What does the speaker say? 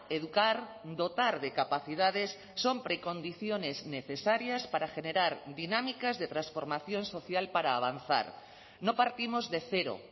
educar dotar de capacidades son precondiciones necesarias para generar dinámicas de transformación social para avanzar no partimos de cero